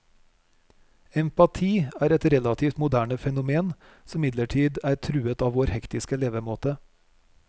Empati er et relativt moderne fenomen, som imidlertid er truet av vår hektiske levemåte.